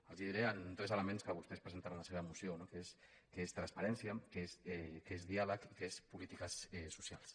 els ho diré amb tres elements que vostès presenten en la seva moció no que és transparència que és diàleg i que és polítiques socials